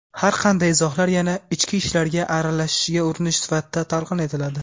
har qanday izohlar yana "ichki ishlarga aralashishga urinish" sifatida talqin etiladi.